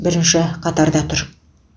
бірінші қатарда тұр